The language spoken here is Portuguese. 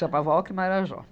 Chamava ocre marajó.